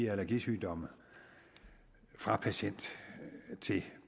allergisygdomme fra patient til